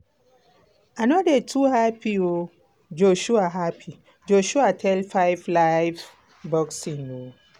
i no dey too happy" joshua happy" joshua tell 5 live boxing.